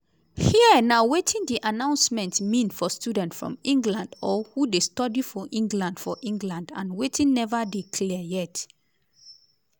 here na wetin di announcement mean for students from england or who dey study for england for england - and wetin neva dey clear yet.